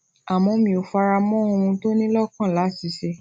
àmó mi ò fara mó ohun tó ní lókàn láti ṣe